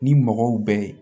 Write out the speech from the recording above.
Ni mɔgɔw bɛ ye